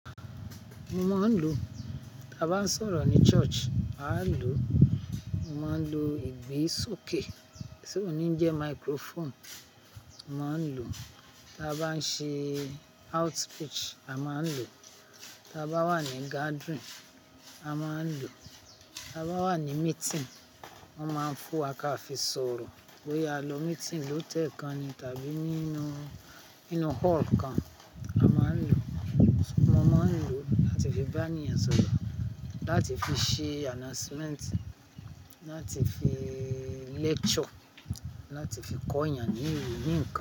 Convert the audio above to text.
Mo máa ń lò. Tí a bá sọ̀rọ̀ ní church a ń lò, mo máa ń lò ìgbe sókè, tí òní ń jẹ microphone, mo máa ń lò, tí a bá ń ṣe outreach, a máa ń lò, tí a bá wà ní gadirin, a máa ń lò, tí a bá wà ní meeting, wọ́n máa ń fún wa ká fi sọ̀rọ̀, bóyá a lọ meeting lọ tẹ́ẹ̀ kan ni tàbí nínú, nínú hall kan, a máa ń lò. Mo máa ń lò láti fi bá ènìyàn sọ̀rọ̀, láti fi ṣe announcement, láti fi lecture, láti fi kọ́ ènìyàn ní, ní nǹkan.